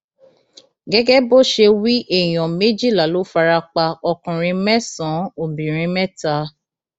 gẹgẹ bó ṣe wí èèyàn méjìlá ló fara pa ọkùnrin mẹsànán obìnrin mẹta